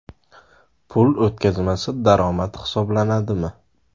Pul o‘tkazmasi daromad hisoblanadimi?.